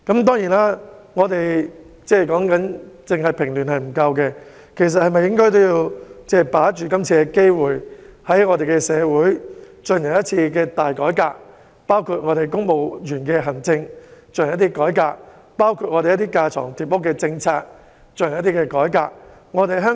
當然，單是平亂並不足夠，應該把握今次的機會，在社會進行一次大改革，包括針對公務員的思維和行政方式及架床疊屋的政策進行改革。